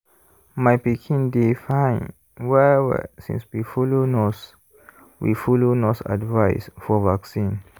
my pikin dey fine well-well since we follow nurse we follow nurse advice for vaccine.